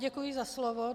Děkuji za slovo.